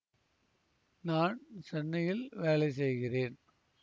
நான் சென்னையில் வேலை செய்கிறேன்